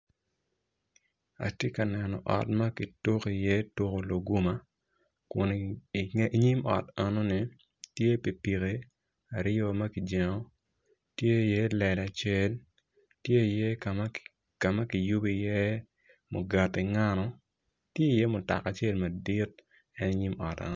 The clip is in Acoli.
Atye ka neno ot ma kituko i ye tuko luguma kun i nyim ot enino tye pikipiki aryo ma kijengo tye iye lela acel tye iye ka ma kiyubo iye mugati ngano tye iye mutoka acel madit en i nyim ot enoni.